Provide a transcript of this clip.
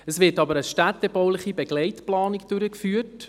Es wird jedoch eine städtebauliche Begleitplanung durchgeführt.